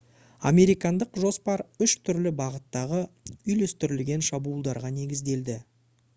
американдық жоспар үш түрлі бағыттағы үйлестірілген шабуылдарға негізделді